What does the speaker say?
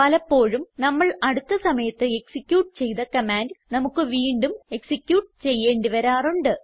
പലപ്പോഴും നമ്മൾ അടുത്ത സമയത്ത് എക്സിക്യൂട്ട് ചെയ്ത കമാൻഡ് നമുക്ക് വീണ്ടും എക്സിക്യൂട്ട് ചെയ്യേണ്ടി വരാറുണ്ട്